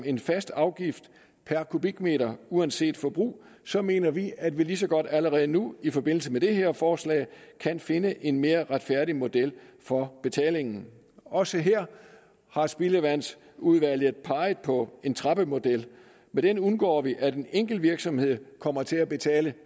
en fast afgift per kubikmeter uanset forbrug så mener vi at vi lige så godt allerede nu i forbindelse med det her forslag kan finde en mere retfærdig model for betalingen også her har spildevandsudvalget peget på en trappemodel ved den undgår vi at en enkelt virksomhed kommer til at betale